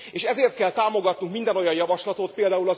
És ezért kell támogatnunk minden olyan javaslatot, pl.